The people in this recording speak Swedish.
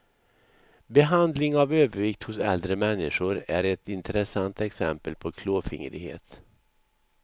Behandling av övervikt hos äldre människor är ett intressant exempel på klåfingrighet.